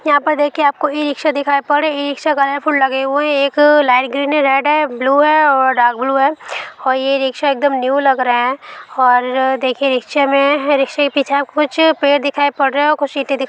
यहा पर देखिए आपको इ-रिकसा दिखाई पड़ इ-रिकसा कलरफूल लगे हुए है। एक अ लाइट ग्रीन है रेड है ब्लू है और डार्क ब्लू है और ये इ-रिक्शा इकदम न्यू लग रहे है ओर अ देखिए रिकसे मे रिक्से के पीछे आपको कुछ पेड़ दिखाई पड़ रहे है और कुछ इंटे--